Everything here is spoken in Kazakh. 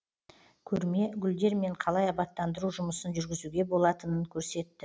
көрме гүлдермен қалай абаттандыру жұмысын жүргізуге болатынын көрсетті